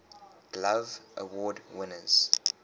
glove award winners